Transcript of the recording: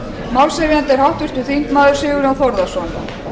málshefjandi er háttvirtur þingmaður sigurjón þórðarson